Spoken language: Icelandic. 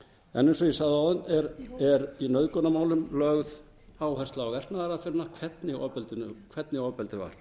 en eins og ég sagði áðan er í nauðgunarmálum lögð áhersla verknaðaraðferðina hvernig ofbeldi var